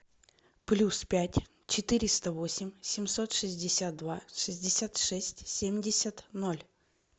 плюс пять четыреста восемь семьсот шестьдесят два шестьдесят шесть семьдесят ноль